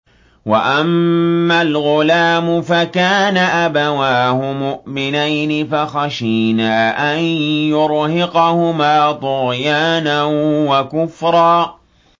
وَأَمَّا الْغُلَامُ فَكَانَ أَبَوَاهُ مُؤْمِنَيْنِ فَخَشِينَا أَن يُرْهِقَهُمَا طُغْيَانًا وَكُفْرًا